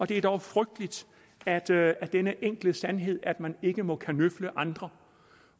det er dog frygteligt at det er er denne enkle sandhed at man ikke må kanøfle andre